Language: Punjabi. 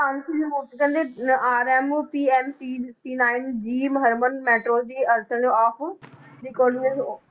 ਕਹਿੰਦੇ RM of